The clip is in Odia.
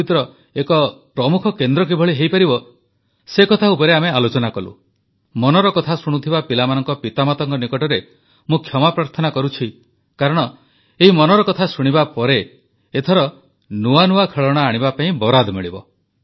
ଭାରତ ଖେଳଣା ପ୍ରସ୍ତୁତିର ଏକ ପ୍ରମୁଖ କେନ୍ଦ୍ର କିଭଳି ହୋଇପାରିବ ମନର କଥା ଶୁଣୁଥିବା ପିଲାମାନଙ୍କ ପିତାମାତାଙ୍କ ନିକଟରେ ମୁଁ କ୍ଷମାପ୍ରାର୍ଥନା କରୁଛି କାରଣ ଏହି ମନର କଥା ଶୁଣିବା ପରେ ଏଥର ନୂଆ ନୂଆ ଖେଳଣା ଆଣିବା ପାଇଁ ବରାଦ ମିଳିବ